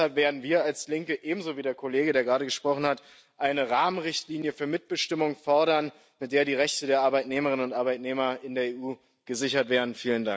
Deshalb werden wir als Linke ebenso wie der Kollege, der gerade gesprochen hat eine Rahmenrichtlinie für Mitbestimmung fordern, mit der die Rechte der Arbeitnehmerinnen und Arbeitnehmer in der EU gesichert werden.